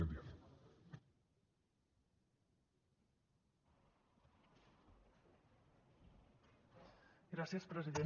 gràcies president